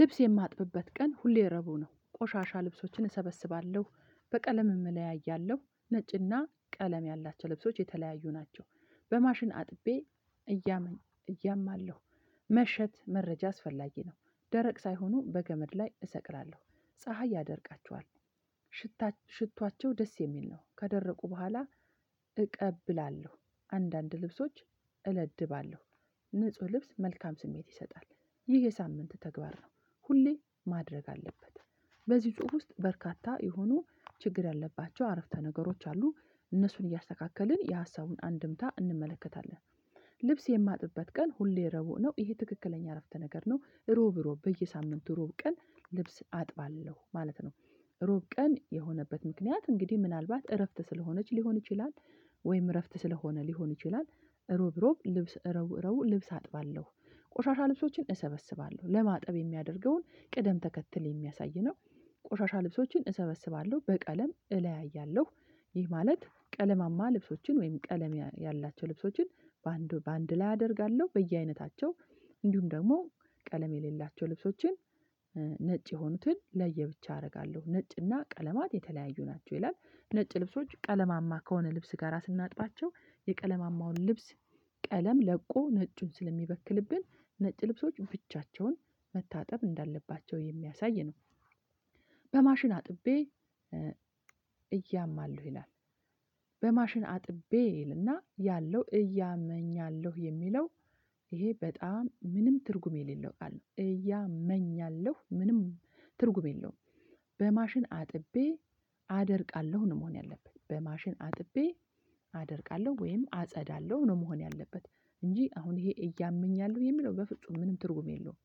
ልብስ የማጥብበት ቀን ሁሌ ረቡ ነው ቆሻሻ ልብሶችን እሰበስባለሁ በቀለም እለያያለሁ ነጭና ቀለም ያላቸው ልብሶች የተለያዩ ናቸው። በማሽን አጥቤ እያመኝ ማለሁ መሸት መረጃ አስፈላጊ ነው። ደረቅ ሳይሆኑ በገመድ ላይ እሰቅላለሁ ፀሀይ ያደርቃቸዋል። ሽታ ሽቶዋቸው ደስ የሚል ነው ከደረቁ በኋላ። እቀብላለሁ አንዳንድ ልብሶች እለድባለሁ ንጹህ ልብስ መልካም ስሜት ይሰጣል። ይህ የሳምንት ተግባር ነው። ሁሌ ማድረግ አለበት። በዚህ ጽሁፍ ውስጥ በርካታ የሆኑ ችግር ያለባቸው አረፍተ ነገሮች አሉ። እነሱን እያስተካከልን የሀሳቡን አንድምታ እንመለከታለን። ልብስ የማጥበት ቀን ሁሌ ረቡዕ ነው ይሄ ትክክለኛ አረፍተ ነገር ነው። ሮብ ሮብ በየሳምንቱ ሮብ ቀን ልብስ አጥባለሁ ማለት ነው። ሮብ ቀን የሆነበት ምክንያት እንግዲህ ምናልባት እረፍት ስለሆነች ሊሆን ይችላል። ወይም እረፍት ስለሆነ ሊሆን ይችላል። ሮብ ሮብ ልብስ ረቡ ረቡ ልብስ አጥባለሁ ቆሻሻ ልብሶችን እሰበስባለሁ ለማጠብ የሚያደርገውን ቅደም ተከትል የሚያሳይ ነው። ቆሻሻ ልብሶችን እሰበስባለሁ በቀለም እለያያለሁ። ይህ ማለት ቀለማማ ልብሶችን ወይም ቀለም ያላቸው ልብሶችን በአንድ በአንድ ላይ አደርጋለሁ በየአይነታቸው። እንዲሁም ደግሞ ቀለም የሌላቸው ልብሶችን ነጭ የሆኑትን ለየብቻ አደርጋለሁ ነጭና ቀለማት የተለያዩ ናቸው ይላል። ነጭ ልብሶች ቀለማማ ከሆነ ልብስ ጋራ ስናጥባቸው የቀለማማውን ልብስ ቀለም ለቆ ነጩን ስለሚበክልብን ነጭ ልብሶች ብቻቸውን መታጠብ እንዳለባቸው የሚያሳይ ነው። በማሽን አጥቤ እያማለሁ በማሽን አጥቤ ይልና ያለው እያመኛለሁ የሚለው። ይሄ በጣም ምንም ትርጉም የሌለው ቃል ነው እያመኛለሁ ምንም ትርጉም የለውም። በማሽን አጥቤ አደርቃለሁ ነው መሆን ያለበት በማሽን አጥቤ አደርቃለሁ ወይም አጸዳለሁ ነው መሆን ያለበት። እንጂ አሁን ይሄ እያመኛለሁ የሚለው በፍጹም ምንም ትርጉም የለውም።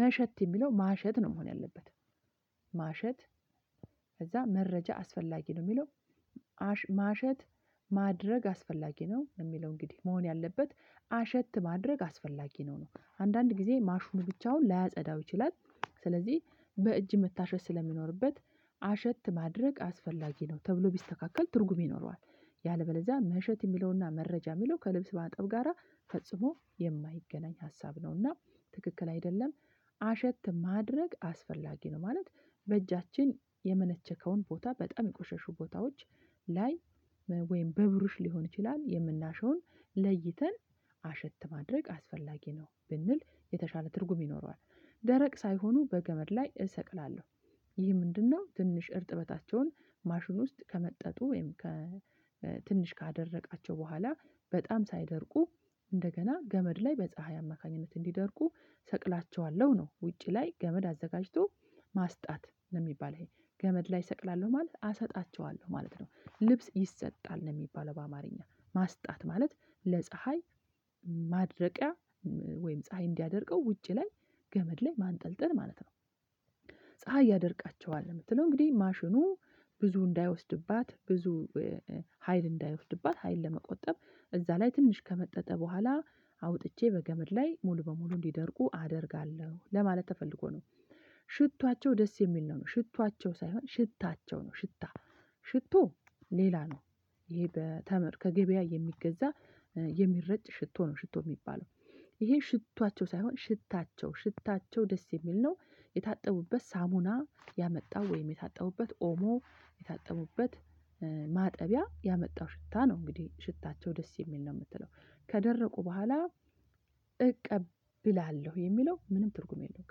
መሸት የሚለው ማሸት ነው መሆን ያለበት። ማሸት ከዛ መረጃ አስፈላጊ ነው የሚለው። ማሸት ማድረግ አስፈላጊ ነው የሚለው እንግዲህ መሆን ያለበት አሸት ማድረግ አስፈላጊ ነው ነው አንዳንድ ጊዜ ማሹኑ ብቻውን ላያጸዳው ይችላል። ስለዚህ በእጅ መታሸት ስለሚኖርበት አሸት ማድረግ አስፈላጊ ነው ተብሎ ቢስተካከል ትርጉም ይኖረዋል። ያለበለዚያ መሸት የሚለውና መረጃ የሚለው ከልብስ ማጠብ ጋራ ፈጽሞ የማይገናኝ ሀሳብ ነውና ትክክል አይደለም። አሸት ማድረግ አስፈላጊ ነው ማለት በእጃችን የመነቸከውን ቦታ በጣም የቆሸሹ ቦታዎች ላይ ወይም በብሩሽ ሊሆን ይችላል የምናሸውን ለይተን አሸት ማድረግ አስፈላጊ ነው ብንል የተሻለ ትርጉም ይኖረዋል። ደረቅ ሳይሆኑ በገመድ ላይ እሰቅላለሁ። ይህ ምንድነው? ትንሽ እርጥበታቸውን ማሽኑ ውስጥ ከመጠጡ ወይም ከ ትንሽ ካደረቃቸው በኋላ በጣም ሳይደርቁ እንደገና ገመድ ላይ በፀሀይ አማካኝነት እንዲደርቁ ሰቅላቸዋለሁ ነው ውጪ ላይ ገመድ አዘጋጅቶ ማስጣት ነው የሚባል ይሄ ገመድ ላይ እሰቅላለሁ ማለት አሰጣቸዋለሁ ማለት ነው። ልብስ ይሰጣል ነው የሚባለው በአማርኛ ማስጣት ማለት ለፀሀይ ማድረቂያ ወይም ፀሀይ እንዲያደርቀው ውጪ ላይ ገመድ ላይ ማንጠልጠል ማለት ነው። ፀሀይ ያደርቃቸዋል የምትለው እንግዲህ ማሽኑ ብዙ እንዳይወስድባት ብዙ ሀይል እንዳይወስድባት ሀይል ለመቆጠብ እዛ ላይ ትንሽ ከመጠጠ በኋላ አውጥቼ በገመድ ላይ ሙሉ በሙሉ እንዲደርቁ አደርጋለሁ ለማለት ተፈልጎ ነው። ሽቷቸው ደስ የሚል ነው ነው ሽቷቸው ሳይሆን ሽታቸው ነው ሽታ ሽቶ ሌላ ነው። ይሄ በተመር ከገበያ የሚገዛ የሚረጭ ሽቶ ነው ሽቶ የሚባለው ይሄ ሽቷቸው ሳይሆን ሽታቸው ሽታቸው ደስ የሚል ነው። የታጠቡበት ሳሙና ያመጣው ወይም የታጠቡበት ኦሞ የጠቡበት ማጠቢያ ያመጣው ሽታ ነው እንግዲህ ሽታቸው ደስ የሚል ነው የምትለው። ከደረቁ በኋላ እቀብላለሁ የሚለው ምንም ትርጉም የለውም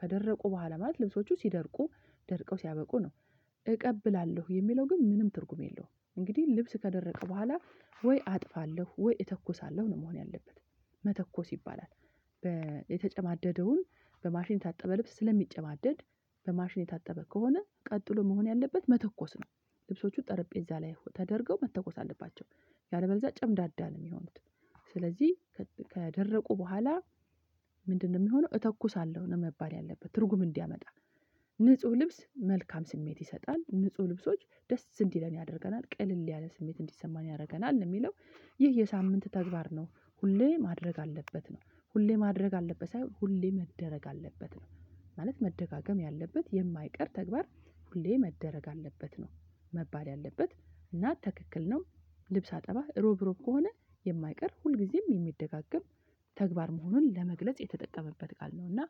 ከደረቁ በኋላ ማለት ልብሶቹ ሲደርቁ ደርቀው ሲያበቁ ነው። እቀብላለሁ የሚለው ግን ምንም ትርጉም የለውም እንግዲህ ልብስ ከደረቀ በኋላ ወይ አጥፋለሁ ወይ እተኩሳለሁ ነው መሆን ያለበት። መተኮስ ይባላል። የተጨማደደውን በማሽን የታጠበ ልብስ ስለሚጨማደድ በማሽን የታጠበ ከሆነ ቀጥሎ መሆን ያለበት መተኮስ ነው። ልብሶቹ ጠረጴዛ ላይ ተደርገው መተኮስ አለባቸው። ያለበለዛ ጨምዳዳ ነው የሚሆኑት። ስለዚህ ከደረቁ በኋላ ምንድነው የሚሆነው እተኩሳለሁ ነው መባል ያለበት ትርጉም እንዲያመጣ። ንጹህ ልብስ መልካም ስሜት ይሰጣል ንጹህ ልብሶች ደስ እንዲለን ያደርገናል ቅልል ያለ ስሜት እንዲሰማን ያደርገናል የሚለው። ይህ የሳምንት ተግባር ነው ሁሌ ማድረግ አለበት ነው ሁሌ ማድረግ አለበት ሳይሆን ሁሌ መደረግ አለበት ነው ማለት መደጋገም ያለበት የማይቀር ተግባር ሁሌ መደረግ አለበት ነው መባል ያለበት እና ትክክል ነው። ልብስ አጠባህ ሮብ ሮብ ከሆነ የማይቀር ሁልጊዜም የሚደጋገም ተግባር መሆኑን ለመግለጽ የተጠቀመበት ቃል ነው እና